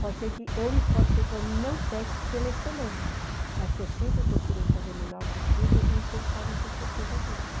Pode ser que eu, pode ser que eu não peque pela excelência, mas que eu sempre procurei fazer o melhor possível e isso eles podem ter certeza disso.